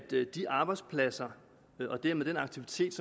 de arbejdspladser og dermed den aktivitet